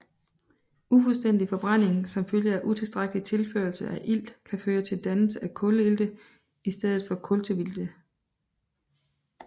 Ufuldstændig forbrænding som følge af utilstrækkelig tilførsel af ilt kan føre til dannelse af kulilte i stedet for kultveilte